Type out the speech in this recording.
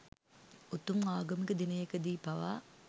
උතුම් ආගමික දිනයකදී පවා